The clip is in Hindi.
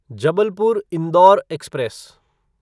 जबलपुर इंडोर एक्सप्रेस